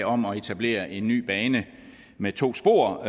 om at etablere en ny bane med to spor